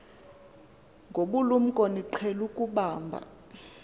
ngobulumko niqhel ukubamb